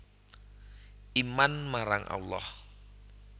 Iman marang Allah